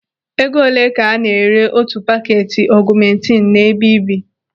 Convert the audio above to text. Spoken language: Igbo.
Ego olee ka a na-ere otu paketi ọgụmentinu n'ebe ị bi?